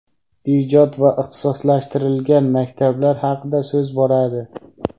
ijod va ixtisoslashtirilgan maktablar haqida so‘z boradi.